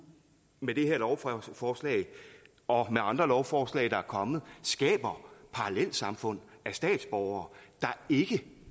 med det her lovforslag og med andre lovforslag der er kommet skaber parallelsamfund af statsborgere der ikke